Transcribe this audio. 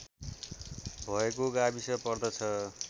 भएको गाविस पर्दछ